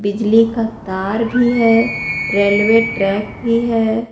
बिजली का तार भी है रेलवे ट्रैक भी है।